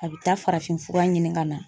A bɛ taa farafinfura ɲini ka na.